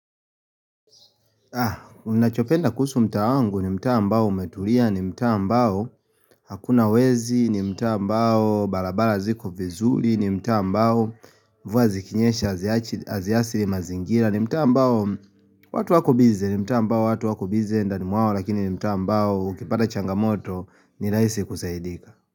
Unachopenda kuhusu mtaa wangu ni mtaa ambao umetulia ni mta ambao hakuna wezi ni mtaa ambao barabara ziko vizuli ni mtaa ambao mvua zikinyesha aziathiri mazingira ni mtaa ambao watu wako biz ni mtaambao watu wako biz ndani mwawo lakini ni mtaa ambao ukipata changamoto ni rahisi kusaidika.